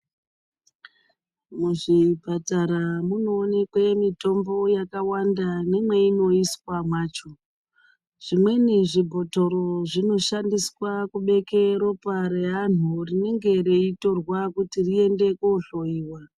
Muzvipatara munoonekwa mitombo yakawanda nemainoiswa macho zvimweni zvibhotoro zvinoshandiswa kubeka ropa revantu rinenge reitorwa kuti riendwe kohloiwa.